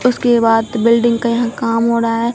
उसके बाद बिल्डिंग का यहां काम हो रहा हैं।